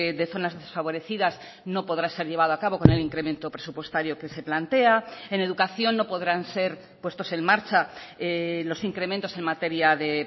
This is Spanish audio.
de zonas desfavorecidas no podrá ser llevado a cabo con el incremento presupuestario que se plantea en educación no podrán ser puestos en marcha los incrementos en materia de